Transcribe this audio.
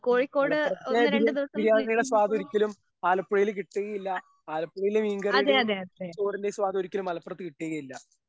ഉം മലപ്പുറത്തെ ബിരിയാണി ബിരിയാണിയുടെ സ്വാദൊരിക്കലും ആലപ്പുഴയില് കിട്ടുകയില്ല ആലപ്പുഴയിലെ മീൻ കറിയുടേയും ചോറിന്റെയും സ്വാദൊരിക്കലും മലപ്പുറത്ത് കിട്ടുകയില്ല.